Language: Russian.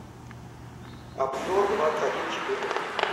обзор двадцать один четырнадцать